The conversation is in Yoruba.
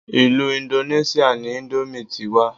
Ilú indoneṣia ni ìndòmí ti wá.